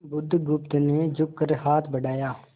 बुधगुप्त ने झुककर हाथ बढ़ाया